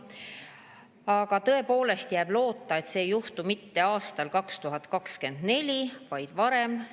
Aga tõepoolest jääb loota, et see ei juhtu mitte aastal 2024, vaid varem.